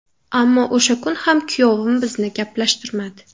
Ammo o‘sha kun ham kuyovim bizni gaplashtirmadi.